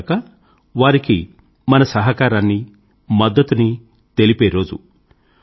అంతేగాక వారికి మన సహకారాన్ని మద్దతుని తెలిపే రోజు